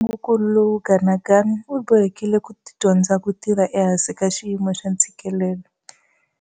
Hi nkarhi wa ntungukulu lowu Ganuganu u bohekile ku dyondza ku tirha ehansi ka xiyimo xa ntshikelelo.